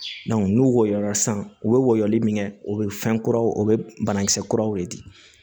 n'u wɔɔrɔ la sisan u bɛ woyo min kɛ o bɛ fɛn kuraw o bɛ banakisɛ kuraw de di